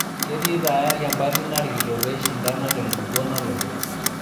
Ketii tayari empati narikito pee eishandana tenkukuo nalotu.